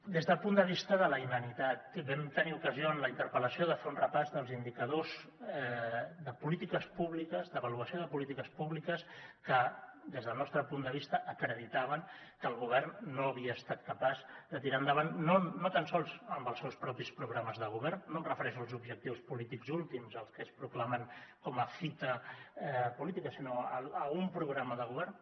des del punt de vista de la inanitat vam tenir ocasió en la interpel·lació de fer un repàs dels indicadors de polítiques públiques d’avaluació de polítiques públiques que des del nostre punt de vista acreditaven que el govern no havia estat capaç de tirar endavant no tan sols amb els seus propis programes de govern no em refereixo als objectius polítics últims els que ells proclamen com a fita política sinó a un programa de govern